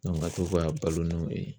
ka to ka balo n'o ye